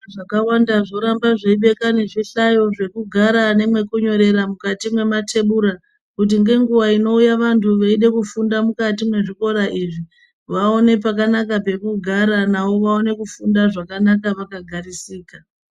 Zvikora zvakawanda zvoramba zveibeka nezvi hlayo zvekugara zvakawanda mukati mwematebura kuti ngenguwa inouya vantu veida kufunda mukati mwezikora izvi vaone pakanaka pekugara navo vaone kufunda zvakanaka vakagarisika.